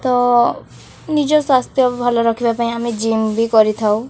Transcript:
ତ ନିଜ ସ୍ୱାସ୍ଥ୍ୟ ଭଲ ରଖିବା ପାଇଁ ଆମେ ଜିମ୍ ବି କରିଥାଉ।